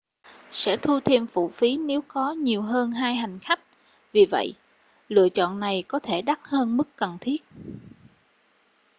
sẽ thu thêm phụ phí nếu có nhiều hơn 2 hành khách vì vậy lựa chọn này có thể đắt hơn mức cần thiết